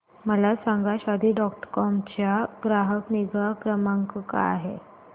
मला सांगा Shaadi dot com चा ग्राहक निगा क्रमांक काय आहे